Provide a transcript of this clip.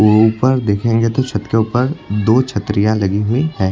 ऊपर देखेंगे तो छत के ऊपर दो छतरियां लगी हुई हैं।